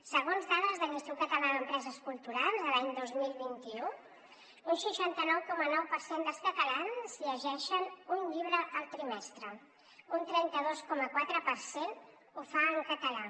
segons dades de l’institut català d’empreses culturals l’any dos mil vint u un seixanta nou coma nou per cent dels catalans llegeixen un llibre al trimestre un trenta dos coma quatre per cent ho fa en català